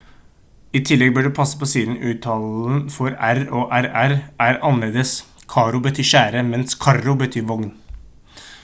i tillegg bør du passe på siden uttalen for r og rr er annerledes caro betyr kjære mens carro betyr vogn